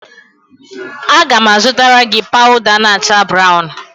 Aga m azụtara gị pawụda na-acha brawụn.